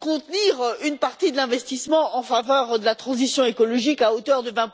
contenir une partie de l'investissement en faveur de la transition écologique à hauteur de